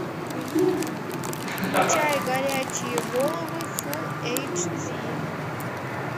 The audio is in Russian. включай горячие головы фул эйч ди